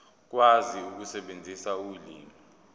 ukwazi ukusebenzisa ulimi